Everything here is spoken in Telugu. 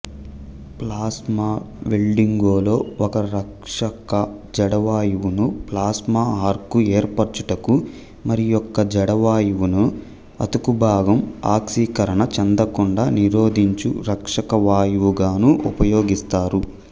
ప్లాస్మా వెల్డింగులో ఒక రక్షకజడవాయువును ప్లాస్మాఆర్కు ఏర్పరచుటకు మరియొక జడవాయువును అతుకుభాగం ఆక్సీకరణ చెందకుండ నిరోధించు రక్షకవాయువుగాను ఉపయోగిస్తారు